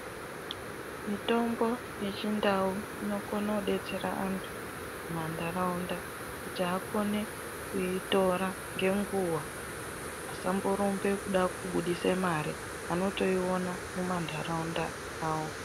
Mitombo yechindau inokone kudetsera antu mumantaraunda kuti akone kuitora ngenguwa asamborumbe kuda kubudise mare anotoiona mumantaraunda awo.